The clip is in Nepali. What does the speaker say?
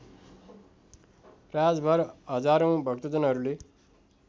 रातभर हजारौँ भक्तजनहरूले